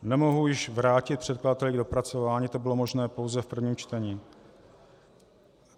Nemohu již vrátit předkladateli k dopracování, to bylo možné pouze v prvním čtení.